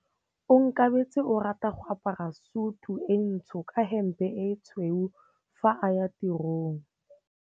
Onkabetse o rata go apara sutu e ntsho ka hempe e tshweu fa a ya tirong.